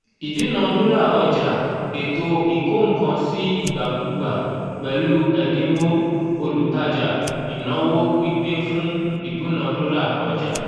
ìdúnadúrà ọjà (ètò ìkó-nǹkan-sí-ìgbàkúgbà) pẹ̀lú ẹ̀dínwó - olútajà ìnáwó gbígbé fún ìdúnadúrà ọjà